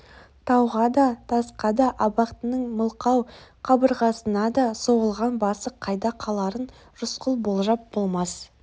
тауға да тасқа да абақтының мылқау қабырғасына да соғылған басы қайда қаларын рысқұл болжап болмас